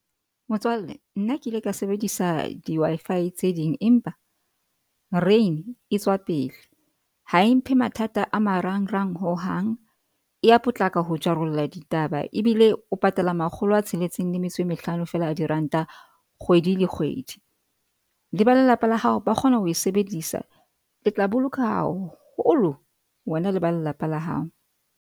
Motswalle, nna ke ile ka sebedisa di-Wi-Fi tse ding, empa Rain e tswa pele. Ha e mphe mathata a marang-rang hohang. E ya potlaka ho jarolla ditaba ebile o patala makgolo a tsheletseng le metso e mehlano fela a diranta. Kgwedi le kgwedi le ba lelapa la hao, ba kgona ho e sebedisa le tla boloka haholo wena le ba lelapa la hao.